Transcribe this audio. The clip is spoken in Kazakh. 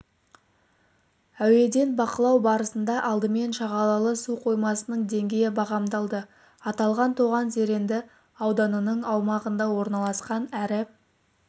әуеден бақылау барысында алдымен шағалалы су қоймасының деңгейі бағамдалды аталған тоған зеренді ауданының аумағында орналасқан әрі